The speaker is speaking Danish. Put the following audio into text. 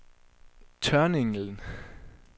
Tørninglen